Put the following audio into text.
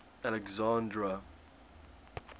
alexandra